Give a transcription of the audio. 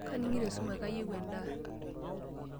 Kaning'ito esumash, kayieu endaa.